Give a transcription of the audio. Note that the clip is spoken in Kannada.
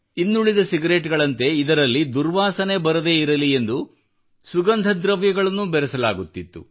ಇನ್ನುಳಿದ ಸಿಗರೇಟ್ ಗಳಂತೆ ಇದರಲ್ಲಿ ದುರ್ವಾಸನೆ ಬರದಿರಲಿ ಎಂದು ಸುಗಂಧ ದ್ರವ್ಯಗಳನ್ನೂ ಬೆರೆಸಲಾಗುತ್ತಿತ್ತು